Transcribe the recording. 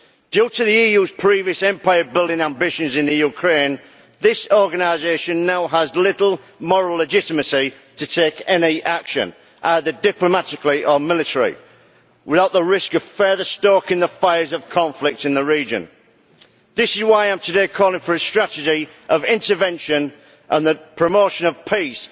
Due to the EU's previous empire building ambitions in Ukraine, this organisation now has little moral legitimacy to take any action, either diplomatically or militarily, without the risk of further stoking the fires of conflict in the region. This is why I am today calling for a strategy of intervention and the promotion of peace,